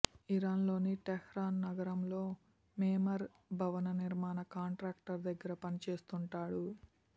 ఇరాన్లోని Tehran నగరంలో మెమెర్ భవన నిర్మాణ కాంట్రాక్టర్ దగ్గర పని చేస్తుంటాడు